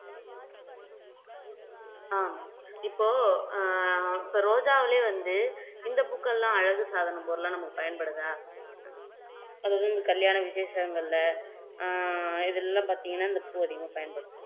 ஆமா இப்போ ஆஹ் இப்போ ரோஜாவுலயே வந்து இந்த பூக்கள் எல்லாம் அழகு சாதன பொருளா நமக்கு பயன்படுதா அது வந்து கல்யாண விஷேசங்களில ஆஹ் இதுல எல்லாம் பாத்தீங்கன்னா இந்த பூ அதிகமா பயன்படும்